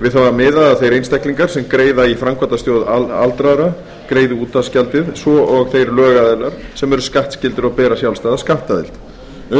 við það er miðað að þeir einstaklingar sem greiða í framkvæmdasjóð aldraðra greiði útvarpsgjaldið svo og þeir lögaðilar sem eru skattskyldir og bera sjálfstæða skattaðild